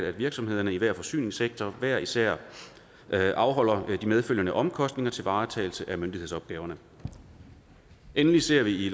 at virksomhederne i hver forsyningssektor ifølge hver især skal afholde de medfølgende omkostninger til varetagelse af myndighedsopgaverne endelig ser vi